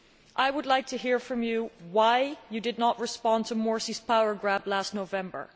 I would like to hear from you why you did not respond to Morsi's power grab last November?